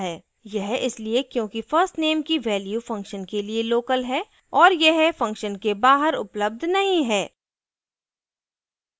यह इसलिए क्योंकि first _ name की value function के लिए local है और यह function के बाहर उपलब्ध नहीं है